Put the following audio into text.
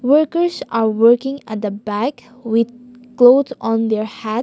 workers are working at the back with cloth on their head.